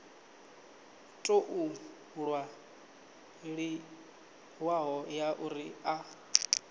tou ṅwaliwaho ya uri a